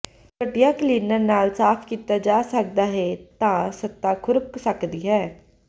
ਘਟੀਆ ਕਲੀਨਰ ਨਾਲ ਸਾਫ ਕੀਤਾ ਜਾ ਸਕਦਾ ਹੈ ਤਾਂ ਸਤ੍ਹਾ ਖ਼ੁਰਕ ਸਕਦੀ ਹੈ